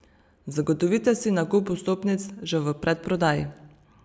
Zagotovite si nakup vstopnic že v predprodaji.